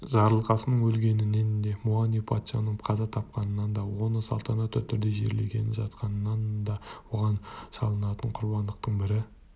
жарылқасынның өлгенінен де муани-лунга патшаның қаза тапқанынан да оны салтанатты түрде жерлегелі жатқанынан да оған шалынатын құрбандықтың бірі